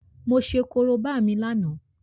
Mo ṣe Korobá mi lánàá